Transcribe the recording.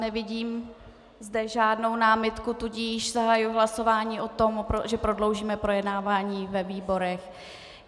Nevidím zde žádnou námitku, tudíž zahajuji hlasování o tom, že prodloužíme projednávání ve výborech.